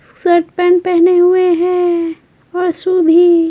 shirt pant पहने हुए हैं असु भी--